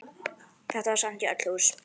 Þetta var sent í öll hús!